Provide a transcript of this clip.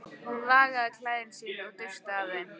Hún lagaði klæði sín og dustaði af þeim.